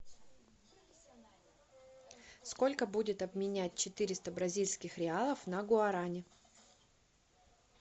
сколько будет обменять четыреста бразильских реалов на гуарани